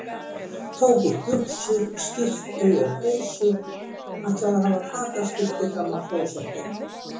Tók upp buxur, skyrtu og peysu, ætlaði að hafa fataskipti frammi á klósetti.